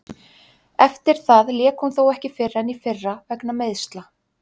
Eftir það lék hún þó ekki fyrr en í fyrra vegna meiðsla.